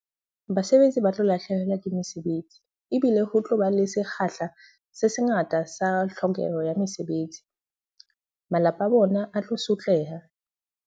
Basebetsi ba tlo lahlehelwa ke mesebetsi. Ebile ho tloba le sekgahla se sengata sa tlhokeho ya mesebetsi. Malapa a bona a tlo sotleha.